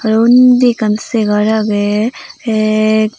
tey undi ekkan saygar agey te.